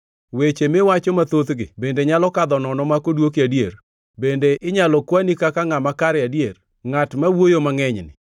“Weche miwacho mathothgi bende nyalo kadho nono mak odwoki adier? Bende inyalo kwani kaka ngʼama kare adier, ngʼat ma wuoyo mangʼenyni?